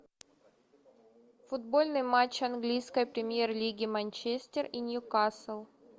футбольный матч английской премьер лиги манчестер и ньюкасл